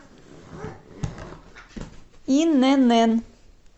инн